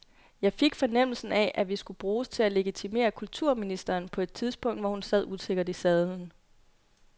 Jeg fik fornemmelsen af, at vi skulle bruges til at legitimere kulturministeren på et tidspunkt, hvor hun sad usikkert i sadlen.